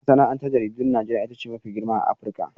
Masana'antar jaridun Najeriya ita ce mafi girma a Afirka.